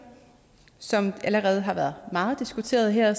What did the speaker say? som det allerede har været meget diskuteret her